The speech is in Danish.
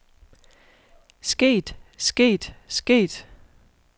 sket sket sket